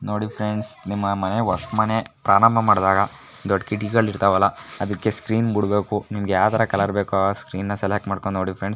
ನೋಡಿ ಫ್ರೆಂಡ್ಸ್ ನಿಮ್ಮ್ನೇ ಓಸ್ ಮನೆ ದೊಡ್ದ್ದ್ ಕಿಡಕಿಗಳಿಗೆ ಇರ್ತ್ಆ ಅಲ್ಲ ಅದಕ್ಕ ಸ್ಕ್ರೀಯೆನ್ ಬುಡ್ಬೇಕು ನಿಮಗೆ ಯಾರ್ದ ಕಲರ್ ಬೇಕೋ ಸ್ಕ್ರೀನ್ ಸೆಲೆಕ್ಟ್ ಮಾಡ್ಕೊಂಡ್ ನೋಡಿ ಫ್ರೆಂಡ್ಸ್ .